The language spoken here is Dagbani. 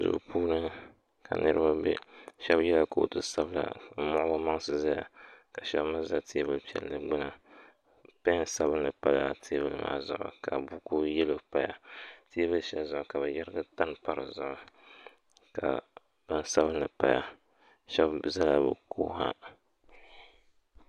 Duu puuni ka niriba be shɛba yɛla kootu sabinli m-muɣi bɛ maŋsi zaya ka shɛba mi za teebul' piɛlli gbuni pɛn sabinli pala teebuli maa zuɣu ka buku yɛlo paya ka bɛ yɛrigi tani m-pa di zuɣu shɛba zala bɛ ko ha